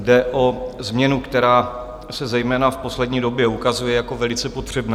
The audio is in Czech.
Jde o změnu, která se zejména v poslední době ukazuje jako velice potřebná.